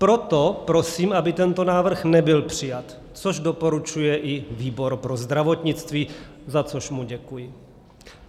Proto prosím, aby tento návrh nebyl přijat, což doporučuje i výbor pro zdravotnictví, za což mu děkuji.